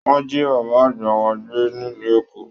Wọn ji bàbá àgbà wa gbé nílu Èkó.